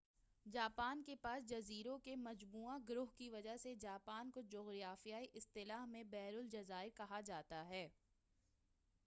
Japan کے پاس جزیروں کے مجموعہ/گروہ کی وجہ سے، جاپان کو جغرافیائی اصطلاح میں بحر الجزائر کہا جاتا ہے۔